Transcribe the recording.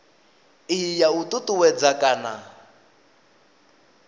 iyi ya u ṱuṱuwedza kana